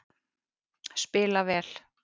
Spila vel